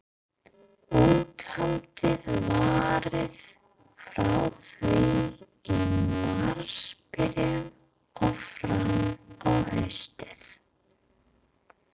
Úthaldið varaði frá því í marsbyrjun og fram á haustið.